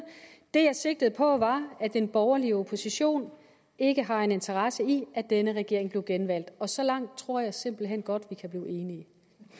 det jeg sigtede på var at den borgerlige opposition ikke har en interesse i at denne regering bliver genvalgt og så langt tror jeg simpelt hen godt at vi kan blive enige